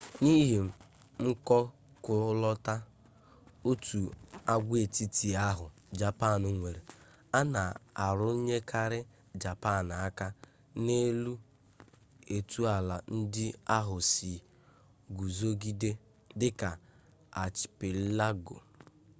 n’ihi mkọkụlọta/òtù agwaetiti ahụ japan nwere a na-arụnyekarị japan aka n’elu etu ala ndị ahụ sị guzogide dị ka archipelago